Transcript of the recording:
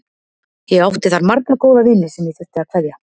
Ég átti þar marga góða vini sem ég þurfti að kveðja.